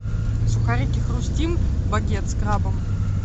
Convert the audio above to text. сухарики хрустим багет с крабом